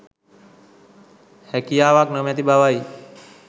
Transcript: හැකියාවක් නොමැති බවයි.